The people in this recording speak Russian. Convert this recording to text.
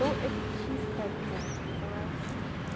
то это чисто оттенок называется